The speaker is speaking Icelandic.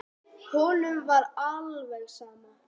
Honum er alveg sama.